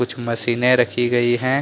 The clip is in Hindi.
कुछ मशीने रखी गयी हैं।